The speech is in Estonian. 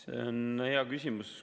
See on hea küsimus.